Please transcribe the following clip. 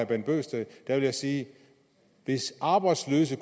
bent bøgsted vil jeg sige hvis arbejdsløse